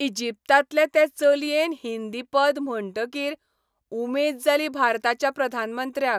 इजिप्तांतले ते चलयेन हिंदी पद म्हणटकीर उमेद जाली भारताच्या प्रधानमंत्र्याक.